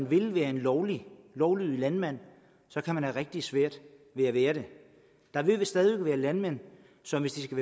vil være en lovlydig lovlydig landmand så kan have rigtig svært ved at være det der vil vist stadig væk være landmænd som hvis de skal